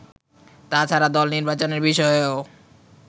তাছাড়া দল নির্বাচনের বিষয়েও